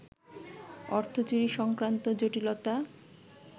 অর্থচুরি সংক্রান্ত জটিলতা